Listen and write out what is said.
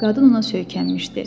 Qadın ona söykənmişdi.